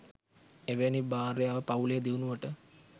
එවැනි භාර්යාව පවුලේ දියුණුවට